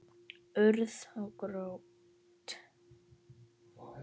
Urð og grjót.